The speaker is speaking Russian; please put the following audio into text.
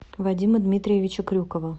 вадима дмитриевича крюкова